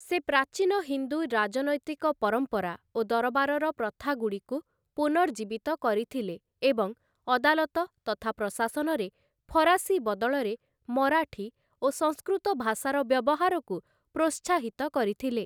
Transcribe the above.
ସେ ପ୍ରାଚୀନ ହିନ୍ଦୁ ରାଜନୈତିକ ପରମ୍ପରା ଓ ଦରବାରର ପ୍ରଥାଗୁଡ଼ିକୁ ପୁନର୍ଜୀବିତ କରିଥିଲେ ଏବଂ ଅଦାଲତ ତଥା ପ୍ରଶାସନରେ ଫରାସୀ ବଦଳରେ ମରାଠୀ ଓ ସଂସ୍କୃତ ଭାଷାର ବ୍ୟବହାରକୁ ପ୍ରୋତ୍ସାହିତ କରିଥିଲେ ।